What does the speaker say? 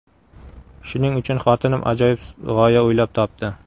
Shuning uchun xotinim ajoyib g‘oya o‘ylab topdi.